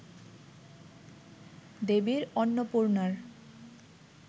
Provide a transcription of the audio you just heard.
দেবীর অন্নপূর্ণার